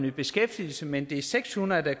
i beskæftigelse men det er seks hundrede der